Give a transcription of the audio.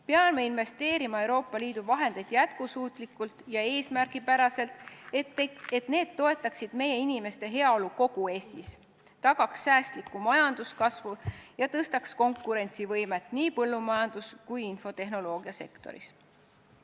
Peame Euroopa Liidu vahendeid investeerima jätkusuutlikult ja eesmärgipäraselt, et need toetaksid inimeste heaolu kogu Eestis, tagaksid säästliku majanduskasvu ja parandaksid konkurentsivõimet nii põllumajanduses kui ka infotehnoloogiasektoris.